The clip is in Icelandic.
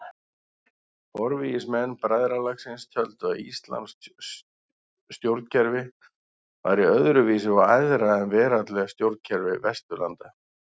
Forvígismenn bræðralagsins töldu að íslamskt stjórnkerfi væri öðru vísi og æðra en veraldleg stjórnkerfi Vesturlanda.